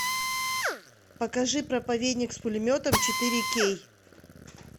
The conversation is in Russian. покажи проповедник с пулеметом четыре кей